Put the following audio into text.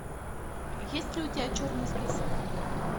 есть ли у тебя черный список